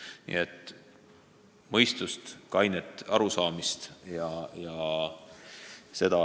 Nii et mõistust ja kainet arusaamist!